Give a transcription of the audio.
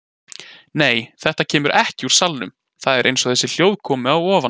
Nei, þetta kemur ekki úr salnum, það er eins og þessi hljóð komi að ofan.